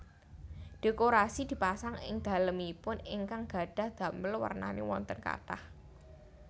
Dhékorasi dipasang ing dhalemipun ingkang gadhah dhamel wernané wonten kathah